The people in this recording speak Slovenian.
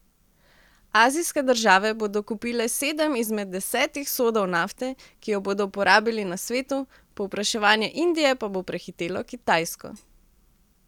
Azijske države bodo kupile sedem izmed desetih sodov nafte, ki jo bodo porabili na svetu, povpraševanje Indije pa bo prehitelo Kitajsko.